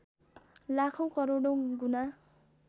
लाखौँ करोडौँ गुणा